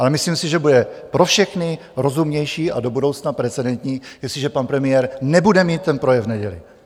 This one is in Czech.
Ale myslím si, že bude pro všechny rozumnější a do budoucna precedentní, jestliže pan premiér nebude mít ten projev v neděli.